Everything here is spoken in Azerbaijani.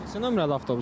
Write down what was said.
Neçə nömrəli avtobusdur?